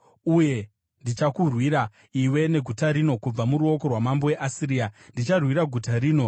Uye ndichakurwira iwe neguta rino kubva muruoko rwamambo weAsiria. Ndicharwira guta rino.